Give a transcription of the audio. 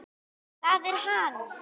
ÞAÐ ER HANN!